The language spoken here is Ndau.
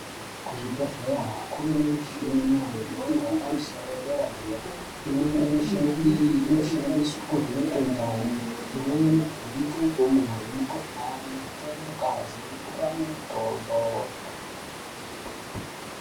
Kuzvibhedhlera kune muchina yemhando yepamusoro yepadera imweni yemuchina iyi inoshandiswa kuvhenaka ndani imweni kuvhenaka ndumure mukuhlani kutore ngazi nekupa mitombo.